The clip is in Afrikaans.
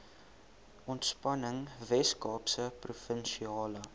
ontspanning weskaapse provinsiale